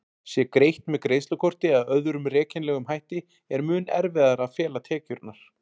Sé greitt með greiðslukorti eða öðrum rekjanlegum hætti er mun erfiðara að fela tekjurnar.